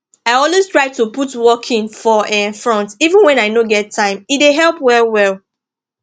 i always try to put walking for um front even when i no get time e dey dey help well well